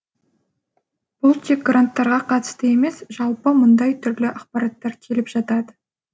бұл тек гранттарға қатысты емес жалпы мұндай түрлі ақпараттар келіп жатады